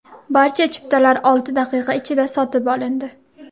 Barcha chiptalar olti daqiqa ichida sotib olindi.